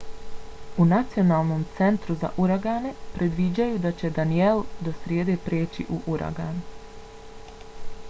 u nacionalnom centru za uragane predviđaju da će danielle do srijede preći u uragan